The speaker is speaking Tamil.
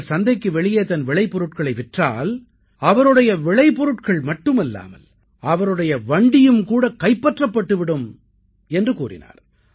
அவர் சந்தைக்கு வெளியே தன் விளைபொருட்களை விற்றால் அவருடைய விளைபொருட்கள் மட்டுமல்லாமல் அவருடைய வண்டியும் கூட கைப்பற்றப்பட்டு விடும் என்று கூறினார்